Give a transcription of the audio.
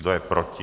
Kdo je proti?